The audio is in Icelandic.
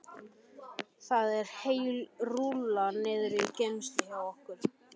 Það er heil rúlla niðri í geymslu hjá okkur, já.